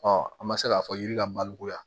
an ma se k'a fɔ yiri ka malikuya